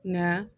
Nka